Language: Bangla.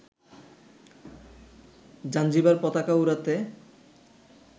জাঞ্জিবার পতাকা উড়াতে